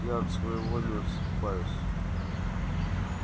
я от своего не отступаюсь